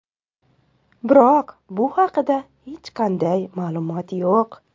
Biroq bu haqida hech qanday ma’lumot yo‘q.